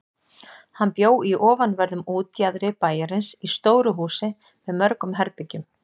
Hann bjó í ofanverðum útjaðri bæjarins í stóru húsi með mörgum herbergjum.